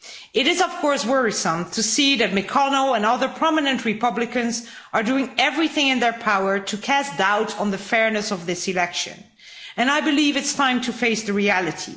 It is, of course, worrisome to see that McConnell and other prominent Republicans are doing everything in their power to cast doubt on the fairness of this election, and I believe it's time to face reality.